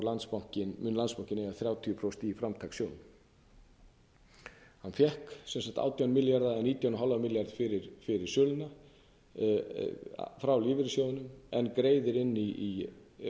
eiga þrjátíu prósent framtakssjóðnum hann fékk sem sagt átján milljarða eða nítján og hálfan milljarð fyrir söluna frá framtakssjóðnum en greiðir inn í